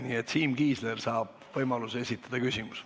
Nii et Siim Kiisler saab võimaluse esitada küsimuse.